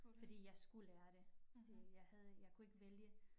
Fordi jeg skulle lære det det jeg havde jeg kunne ikke vælge